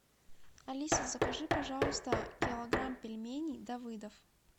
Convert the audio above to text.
алиса закажи пожалуйста килограмм пельменей давыдов